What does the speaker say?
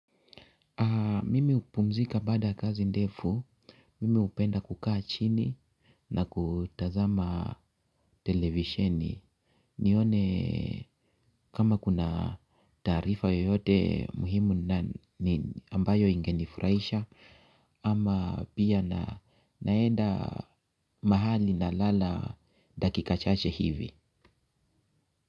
Mimi hupumzika baada ya kazi ndefu. Mimi hupenda kukaa chini na kutazama televisheni nione kama kuna taarifa yoyote muhimu ambayo ingenifurahisha. Ama pia naenda mahali na lala dakika chache hivi.